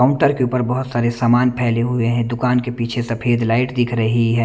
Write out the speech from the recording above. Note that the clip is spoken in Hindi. काउन्टर के ऊपर बहोत सारे सामान फैले हुए हैं दुकान के पीछे सफेद लाईट दिख रही है।